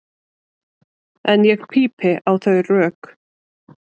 En ég pípi á þau rök.